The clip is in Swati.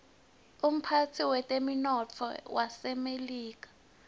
umphetsi wetemnotto wasemelika